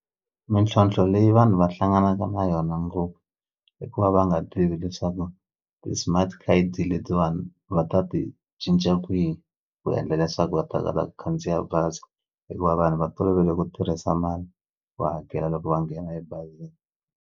Mintlhontlho leyi vanhu va hlanganaka na yona ngopfu i ku va va nga tivi leswaku ti-smart card letiwani va ta ti cinca kwihi ku endla leswaku va ta kota ku khandziya bazi hikuva vanhu va tolovele ku tirhisa mali va hakela loko va nghena ebazini.